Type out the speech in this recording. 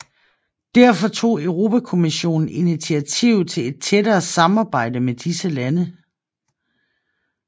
Derfor tog Europakommissionen initiativ til et tættere samarbejde med disse lande